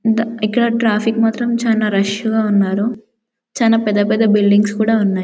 డ ఇక్కడ ట్రాఫిక్ మాత్రమ్ చాలా రష్ గా ఉన్నారు చాల పెద్ద పెద్ద బిల్డింగ్స్ కూడా ఉన్నాయి.